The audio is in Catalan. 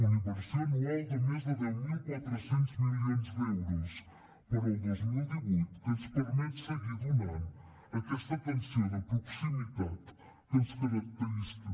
una inversió anual de més de deu mil quatre cents milions d’euros per al dos mil divuit que ens permet seguir donant aquesta atenció de proximitat que ens caracteritza